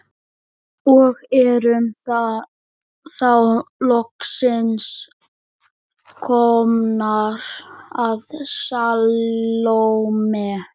Og erum þá loksins komnar að Salóme.